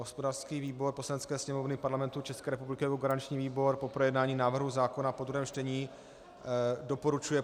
Hospodářský výbor Poslanecké sněmovny Parlamentu České republiky jako garanční výbor po projednání návrhu zákona po druhém čtení doporučuje